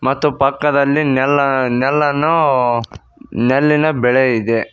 ಮತ್ತು ಪಕ್ಕದಲ್ಲಿ ನೆಲ್ ನೆಲ್ಲನ್ನು ನೆಲ್ಲಿನ ಬೆಳೆ ಇದೆ.